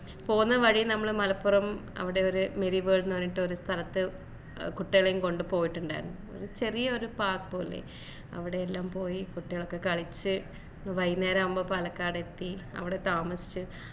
പോന്ന വഴി നമ്മള് മലപ്പുറം അവിടെ ഒരു merry world ന്ന് പറഞ്ഞിട്ട് ഒരു സ്ഥലത്തു കുട്ടികളേം കൊണ്ട് പോയിട്ട്ണ്ടായിരുന്നു ഒരു ചെറിയൊരു park പോലെ അവിടെ എല്ലാം പോയി കുട്ടികളൊക്കെ കളിച്ചു വൈന്നേരം ആവുമ്പൊ പാലക്കാട് എത്തി അവിടെ താമസിച്ച്‌